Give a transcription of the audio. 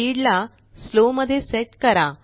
speed ला slow मध्ये set करा